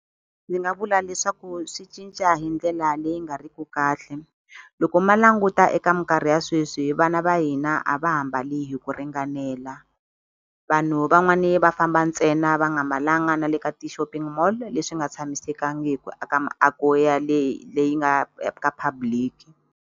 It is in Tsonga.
Ndzi nga vula leswaku swi cinca hi ndlela leyi nga ri ku kahle loko ma languta eka minkarhi ya sweswi vana va hina a va ha mbali hi ku ringanela vanhu van'wani va famba ntsena va nga mbalanga na le ka ti-shopping mall leswi nga tshamisekangiku aka miako ya leyi leyi nga ka public.